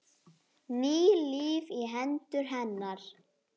Ný lífi í hendur hennar.